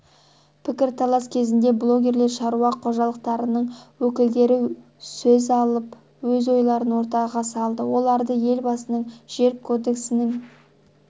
пікірталас кезінде блогерлер шаруа қожалықтарының өкілдері сөз алып өз ойларын ортаға салды олар елбасының жер кодексінің